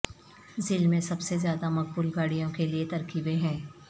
ذیل میں سب سے زیادہ مقبول گاڑیوں کے لیے ترکیبیں ہیں